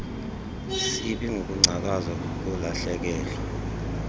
sibi sokungcakaza kukulahlekelwa